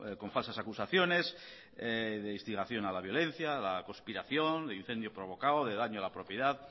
con falsas acusaciones de instigación a la violencia a la conspiración de incendio provocado de daño a la propiedad